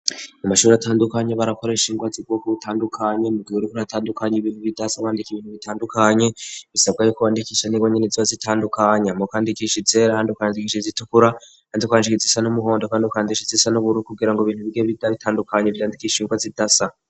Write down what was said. Mu mashuri atandukanya barakoreshingwa zigoko uwutandukanye muwiwe rikuri atandukanya ibihu bidasa awandika ibintu bitandukanye bisabwa yuko wandikisha ningo nyeneziwa zitandukanya mu kandikisha izera handukwanzikisha zitukura handikanshikizisa n'umuhondo kandukanzishi zisa n'uburu kugira ngo ibintu bigeidaitandukanye vyandikishingwa zidasa.